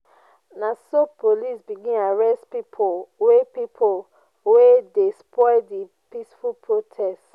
na so police begin arrest pipu wey pipu wey dey spoil di peaceful protest.